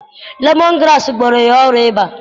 Lemọn graasị gwọrọ ya ọrịa ịba.